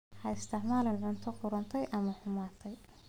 Ha isticmaalin cunto qudhuntay ama xumaatay.